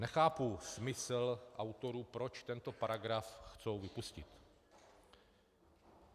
- Nechápu smysl autorů, proč tento paragraf chtějí vypustit.